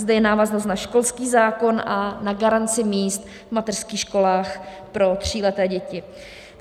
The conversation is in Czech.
Zde je návaznost na školský zákon a na garanci míst v mateřských školách pro tříleté děti.